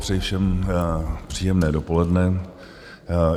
Přeji všem příjemné dopoledne.